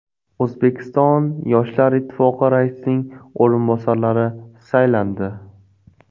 O‘zbekiston yoshlar ittifoqi raisining o‘rinbosarlari saylandi.